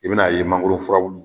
I bɛn'a ye mangoro furabulu